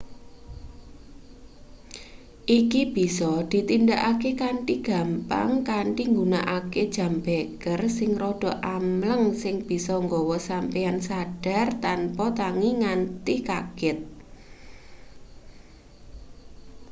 iki bisa ditindakake kanthi gampang kanthi nggunakake jam beker sing rada amleng sing bisa gawe sampeyan sadar tanpa tangi nganti kaget